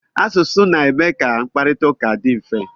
Asụsụ na-eme ka mkparita ụka dị mfe.